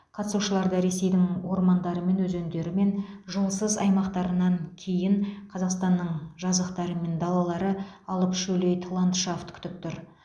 қатысушыларды ресейдің ормандары мен өзендері мен жолсыз аймақтарынан кейін қазақстанның жазықтары мен далалары алып шөлейт ландшафт күтіп тұр